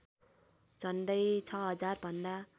झन्डै ६००० भन्दा